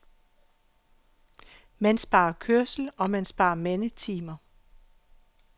Man sparer kørsel, og man sparer mandetimer.